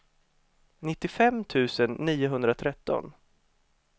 nittiofem tusen niohundratretton